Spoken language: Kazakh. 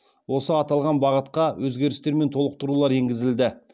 осы аталған бағытқа өзгерістер мен толықтырулар енгізілді